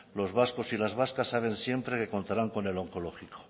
los vascos y las vascas saben siempre que contarán con el onkologiko